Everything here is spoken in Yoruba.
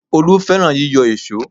Olú fẹ́ràn yíyọ èṣó